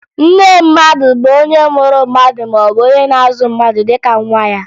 Nne mmadụ bụ onye mụrụ mmadụ maọbụ onye na-azụ mmadụ dịka nwa ya